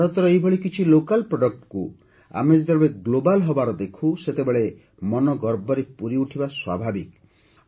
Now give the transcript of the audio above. ଭାରତର ଏହିଭଳି କିଛି ସ୍ଥାନୀୟ ଉତ୍ପାଦକୁ ଆମେ ଯେତେବେଳେ Global ହେବାର ଦେଖୁ ସେତେବେଳେ ମନ ଗର୍ବରେ ପୁରିଉଠିବା ସ୍ୱାଭାବିକ